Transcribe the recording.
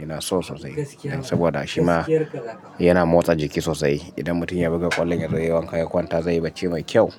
ina so sosai saboda shima yana motsa jiki sosai. Idan mutum ya buga ƙwallon ya zo yayi wanka ya kwanta zai yi barci mai kyau.